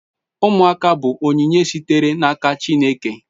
Umuaka bu onyinye sitere na aka chineke